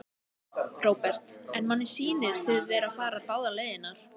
Róbert: En manni sýnist þið vera að fara báðar leiðirnar?